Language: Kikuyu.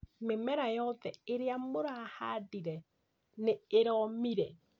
Mĩmera yothe ĩrĩa mũrahandire nĩ ĩromire